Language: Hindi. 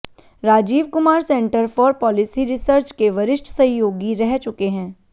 Rajiv Kumar centre for policy research के वरिष्ठ सहयोगी रह चुके हैं